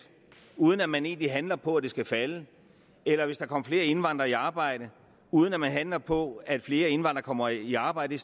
uden at man egentlig handler på at det skal falde eller hvis der kom flere indvandrere i arbejde uden at man handler på at flere indvandrere kommer i arbejde